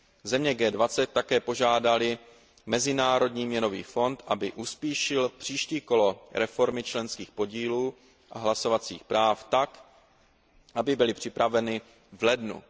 Země G20 také požádaly Mezinárodní měnový fond, aby uspíšil příští kolo reformy členských podílů a hlasovacích práv tak, aby byla připravena v lednu